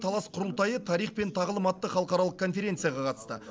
талас құрылтайы тарих пен тағылым атты халықаралық конференцияға қатысты